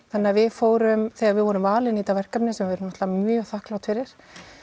þannig að við fórum þegar við vorum valin í þetta verkefni sem við náttúrulega mjög þakklát fyrir